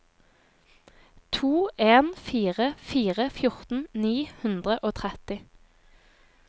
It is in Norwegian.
to en fire fire fjorten ni hundre og tretti